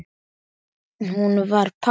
Hún var padda.